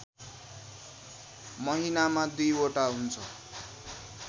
महिनामा दुईवटा हुन्छ